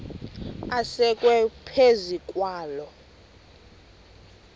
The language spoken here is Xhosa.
asekwe phezu kwaloo